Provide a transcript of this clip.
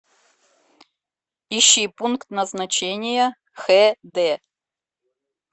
ищи пункт назначения хд